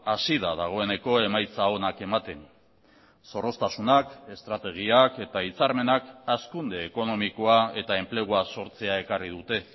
hasi da dagoeneko emaitza onak ematen zorroztasunak estrategiak eta hitzarmenak hazkunde ekonomikoa eta enplegua sortzea ekarri dute